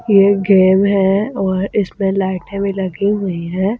ये गेम हैऔर इसमें लाइटें भी लगी हुई है।